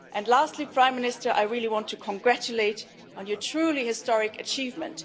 this. Lastly, Prime Minister, I really want to congratulate you on your truly historic achievement.